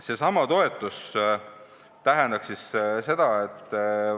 Mida see toetus tähendaks?